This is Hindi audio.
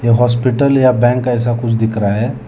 हॉस्पिटल या बैंक ऐसा कुछ दिख रहा है।